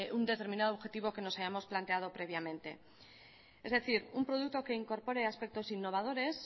un determinado objetivo que nos habíamos planteado previamente es decir un producto que incorpore aspectos innovadores